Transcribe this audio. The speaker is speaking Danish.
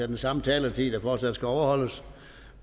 den samme taletid der fortsat skal overholdes